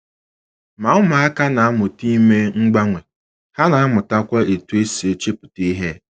Ma ụmụaka na - amụta ime mgbanwe, ha na - amụtakwa otú e si echepụta ihe.